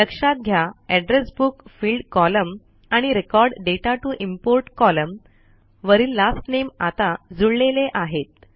लक्षात घ्या address book field column आणि record data to import column वरील लास्ट नामे आता जुळलेले आहेत